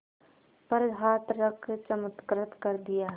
पर हाथ रख चमत्कृत कर दिया